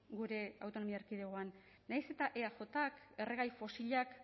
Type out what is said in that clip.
gure autonomia erkidegoan nahiz eta eajk erregai fosilak